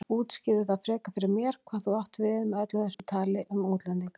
Útskýrðu frekar fyrir mér hvað þú áttir við með öllu þessu tali um útlendinga.